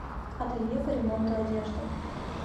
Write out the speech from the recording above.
ателье по ремонту одежды